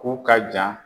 K'u ka jan